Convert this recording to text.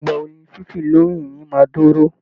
Ìgbà wo ni fífì lórí ìrìn máa dúró?